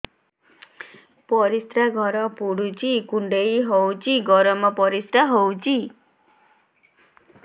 ପରିସ୍ରା ଘର ପୁଡୁଚି କୁଣ୍ଡେଇ ହଉଚି ଗରମ ପରିସ୍ରା ହଉଚି